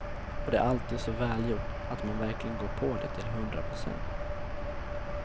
Och det är alltid så välgjort att man verkligen går på det till hundra procent.